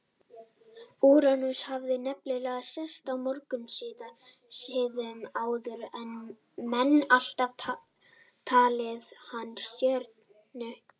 Úranus hafði nefnilega sést mörgum sinnum áður en menn alltaf talið hana stjörnu.